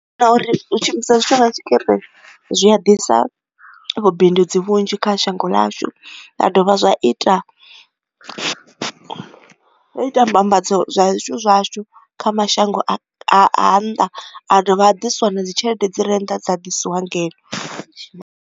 Kana uri hu shumisa zwithu nga tshikirini zwi a ḓisa vhubindudzi vhunzhi kha shango ḽashu nda dovha zwa ita ita mbambadzo zwithu zwashu kha mashango a nnḓa a dovha a diswa na dzi tshelede dzi rennḓa dza ḓisiwa ngeno.